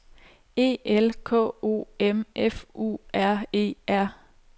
E L K O M F U R E R